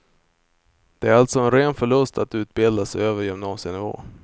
Det är alltså en ren förlust att utbilda sig över gymnasienivå.